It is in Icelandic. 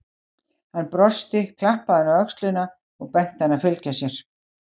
Hann brosti, klappaði henni á öxlina og benti henni að fylgja sér.